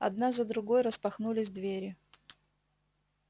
одна за другой распахнулись двери